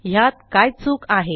ह्यात काय चूक आहे